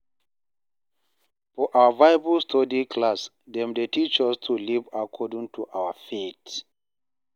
For our Bible study class, dem dey teach us to live according to our faith